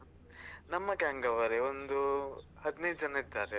ನಮ್ಮ gang ಅವರೇ ಒಂದು ಹದ್ನೈದು ಜನ ಇದ್ದಾರೆ.